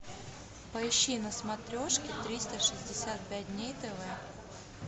поищи на смотрешке триста шестьдесят пять дней тв